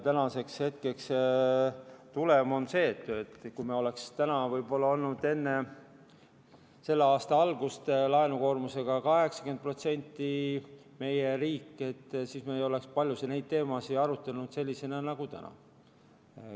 Tänaseks hetkeks on tulem see, et kui me oleks olnud enne selle aasta algust 80% laenukoormusega riik, siis me ei oleks paljusid neid teemasid arutanud sellistena nagu täna.